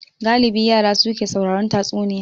Galibi yara su ke sauraron tatsuniya